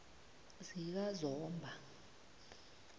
zikazomba